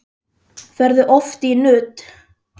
Ferðu oft í nudd?